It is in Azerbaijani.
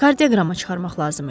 Kardioqramma çıxarmaq lazım idi.